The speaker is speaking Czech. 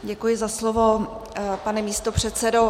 Děkuji za slovo, pane místopředsedo.